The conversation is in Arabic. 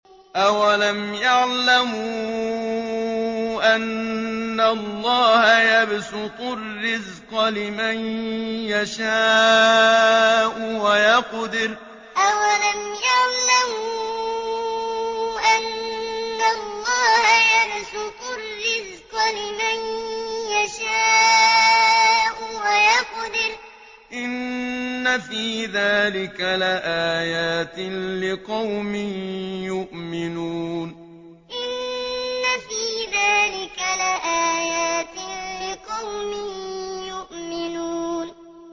أَوَلَمْ يَعْلَمُوا أَنَّ اللَّهَ يَبْسُطُ الرِّزْقَ لِمَن يَشَاءُ وَيَقْدِرُ ۚ إِنَّ فِي ذَٰلِكَ لَآيَاتٍ لِّقَوْمٍ يُؤْمِنُونَ أَوَلَمْ يَعْلَمُوا أَنَّ اللَّهَ يَبْسُطُ الرِّزْقَ لِمَن يَشَاءُ وَيَقْدِرُ ۚ إِنَّ فِي ذَٰلِكَ لَآيَاتٍ لِّقَوْمٍ يُؤْمِنُونَ